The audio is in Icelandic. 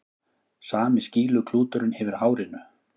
Sami skýluklúturinn yfir hárinu.